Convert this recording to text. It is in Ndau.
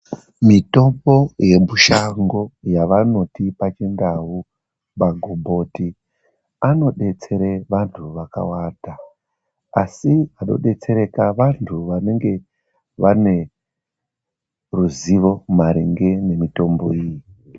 Mitombo yemushango yavanoti paChiNdau magomboti anodetsere vandu vakawanda. Asi vanodetsereka vantu vanenge vane ruzivo maringe nemitombo iyi.